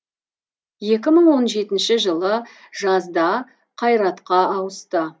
екі мың он жетінші жылы жазда қайратқа ауысты